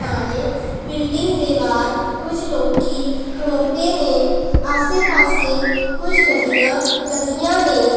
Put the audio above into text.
ਨਾਲੇ ਬਿਲਡਿੰਗ ਦੇ ਵਾਹਰ ਕੁਝ ਲੋਕੀਂ ਖਲੌਤੇ ਨੇਂ ਆਸੇ ਪਾੱਸੇ ਕੁਝ ਗੱਡੀਆਂ ਲੱਗੀਆਂ ਨੇਂ।